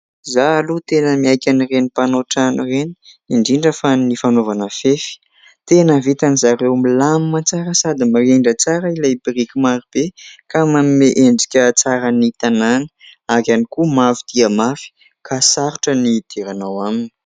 izaho aloha tena miaiky an'ireny mpanao trano ireny indrindra fa ny fanaovana fefy , tena vitan-dry zareo milamina tsara sady mirindra tsara ilay biriky maro be ka manome endrika tsara ny tanàna ary ihany koa mafy dia mafy ka sarotra ny hidirana ao aminy